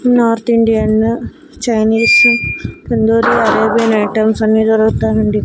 North Indian Chinese tandoori Arabian items అన్ని దొరుకుతాయండి.